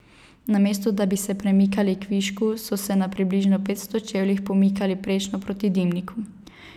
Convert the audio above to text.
Namesto da bi se premikali kvišku, so se na približno petsto čevljih pomikali prečno proti dimniku.